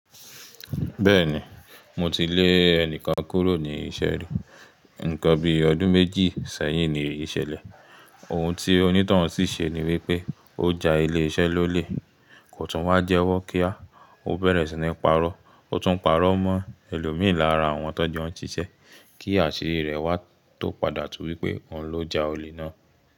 Bẹ́ẹ̀ni mo ti lé ẹnìkan kúrò ní iṣẹ́ rí. Nǹkan bí ọdún méjì sẹ́yìn ni eyi ṣẹ̀lẹ̀. Ohun tí onítanhun sì ṣe ni wípé ó ja ilé iṣẹ́ lólè. Kò tún wá jẹ́wọ́ kí á. Ó bẹ̀rẹ̀ sí ní parọ́. Ó tún parọ́ mọ́ ẹlòmí lára àwọn tọ́jọ n siṣe kí àṣírí rẹ̀ wá tó padà tú wípé òun ló ja olè náà.